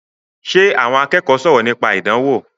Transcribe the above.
Ṣe àwọn akẹ́kọ̀ọ́ sọ̀rọ̀ nípa ìdánwò?